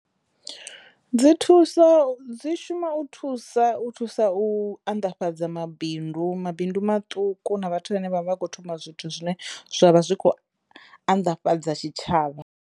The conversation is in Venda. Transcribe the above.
Dzi thusa dzi shuma u thusa u thusa u anḓafhadza mabindu mabindu maṱuku na vhathu vhane vha vha kho thoma zwithu zwine zwavha zwi kho anḓafhadza tshitshavha.